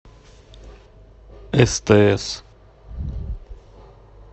стс